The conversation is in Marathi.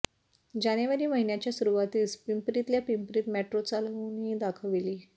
जानेवारी महिन्याच्या सुरुवातीस पिंपरीतल्या पिंपरीत मेट्रो चालवूनही दाखविली